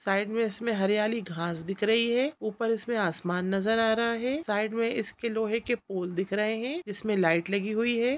Side में इसमें हरियाली घास दिख रही है ऊपर इसमें आसमान नज़र आ रहा है साइड में इसके लोहे के पूल दिख रहे है इसमें लाईट लगी हुई है।